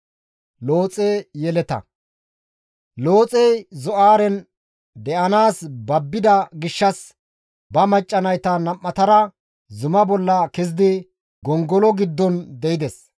Looxey Zo7aaren de7anaas babbida gishshas ba macca nayta nam7atara zuma bolla kezidi gongolo giddon de7ides.